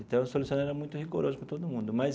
Então seu Luciano era muito rigoroso para todo mundo mas.